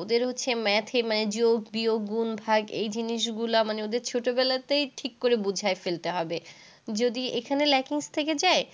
ওদের হচ্ছে math, মানে যোগ, বিয়োগ, গুণ, ভাগ এই জিনিসগুলা মানে ওদের ছোটবেলাতেই ঠিক করে বুঝায় ফেলতে হবে। যদি এখানে lackings থেকে যায়,